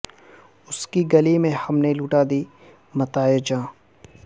اس کی گلی میں ہم نے لٹا دی متاع جاں